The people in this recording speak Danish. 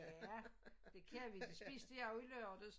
Ja det kan vi det spiste jeg jo i lørdags